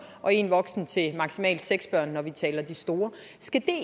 og én voksen til maksimalt seks børn når vi taler om de store skal det